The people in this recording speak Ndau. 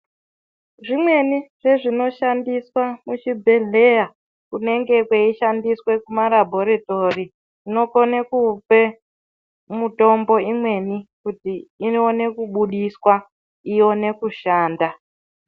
Zvimweni zvezvinoshandiswa muchibhohleya Kunenge kweishandiswa kumalaboritory zvinokone kupe mitombo imweni kuti ione kubudiswa ione kushanda.